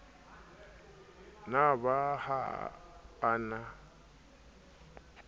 na ba ha a na